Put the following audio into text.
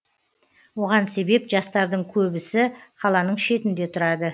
оған себеп жастардың көбісі қаланың шетінде тұрады